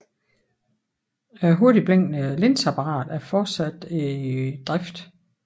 Det hurtigtblinkende linseapparatet er fortsat i drift